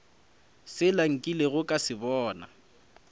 sela nkilego ka se bona